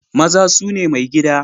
Maza su ne maigida